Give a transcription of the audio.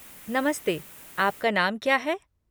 नमस्ते, आपका नाम क्या है?